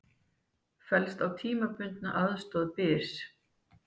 Fellst á tímabundna aðstoð til Byrs